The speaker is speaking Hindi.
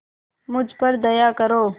मुझ पर दया करो